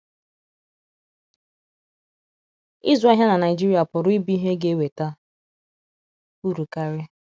Ịzụ ahịa na Nigeria pụrụ ịbụ ihe ga - eweta uru karị.